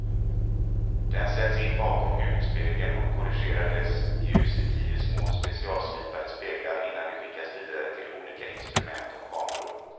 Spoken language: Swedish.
Den sätts in bakom huvudspegeln och korrigerar dess ljus i tio små specialslipade speglar innan det skickas vidare till olika instrument och kameror.